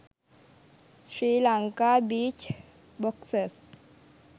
sri lanka beach boxes